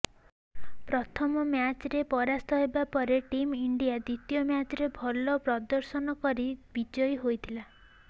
ପ୍ରଥମ ମ୍ୟାଚ୍ରେ ପରାସ୍ତ ହେବା ପରେ ଟିମ୍ ଇଣ୍ଡିଆ ଦ୍ୱିତୀୟ ମ୍ୟାଚରେ ଭଲ ପ୍ରଦର୍ଶନ କରି ବିଜୟୀ ହୋଇଥିଲା